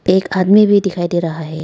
एक आदमी भी दिखाई दे रहा है।